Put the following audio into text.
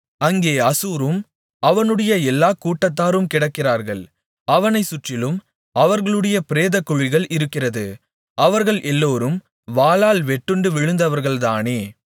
அங்கே அசூரும் அவனுடைய எல்லாக் கூட்டத்தாரும் கிடக்கிறார்கள் அவனைச் சுற்றிலும் அவர்களுடைய பிரேதக்குழிகள் இருக்கிறது அவர்கள் எல்லோரும் வாளால் வெட்டுண்டு விழுந்தவர்கள்தானே